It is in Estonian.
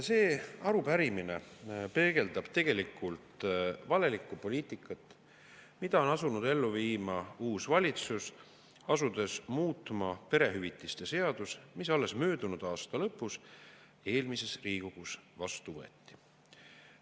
See arupärimine peegeldab tegelikult valelikku poliitikat, mida on asunud ellu viima uus valitsus, asudes muutma perehüvitiste seadust, mis alles möödunud aasta lõpus eelmises Riigikogus vastu võeti.